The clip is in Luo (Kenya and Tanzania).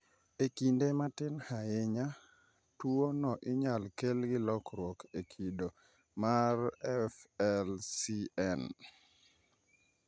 E kinde matin ahinya, tuo no inyalo kel gi lokruok e kido mar FLCN